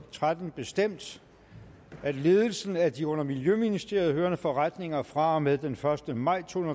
og tretten bestemt at ledelsen af de under miljøministeriet hørende forretninger fra og med den første maj to